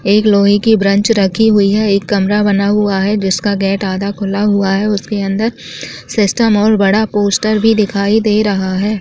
एक लोहे की ब्रेन्च रखी हुई है एक कमरा बना हुआ है जिसका गेट आधा खुला हुआ है उसके अंदर सिस्टम और बड़ा पोस्टर भी दिखाई दे रहा है।